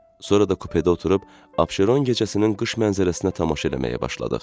Sonra da kupedə oturub Abşeron gecəsinin qış mənzərəsinə tamaşa eləməyə başladıq.